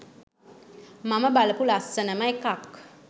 මම බලපු ලස්සනම එකක්